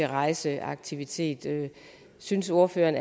rejseaktivitet synes ordføreren